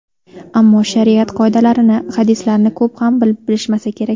Ammo shariat qoidalarini, hadislarni ko‘p ham bilishmasa kerak.